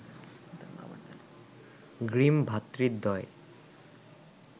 grim ভ্রাতৃদ্বয়